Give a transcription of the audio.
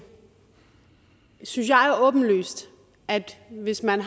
synes jeg åbenlyst at hvis man